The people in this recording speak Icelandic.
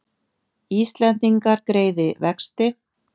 Íslendingar greiði vexti